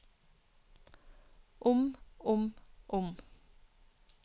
om om om